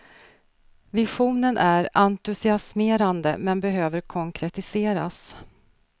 Visionen är entusiasmerande men behöver konkretiseras.